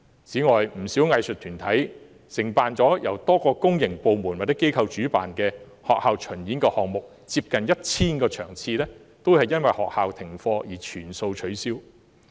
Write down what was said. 此外，不少藝術團體也承辦了由多個公營部門或機構主辦的學校巡演項目，有接近 1,000 場次也由於學校停課而要全數取消。